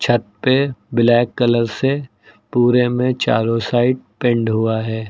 छत पे black colour से पूरे में चारों साइड पेंट हुआ है।